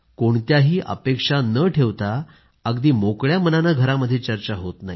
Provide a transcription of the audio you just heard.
कोणत्याही अपेक्षा न ठेवता अगदी मोकळ्या मनाने घरामध्ये चर्चा होत नाही